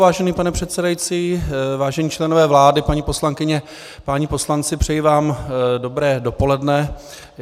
Vážený pane předsedající, vážení členové vlády, paní poslankyně, páni poslanci, přeji vám dobré dopoledne.